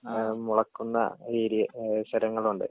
അത് മുളക്കുന്ന ഏരിയ സ്ഥലങ്ങളുണ്ട്.